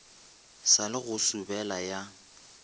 sa le go sobela ya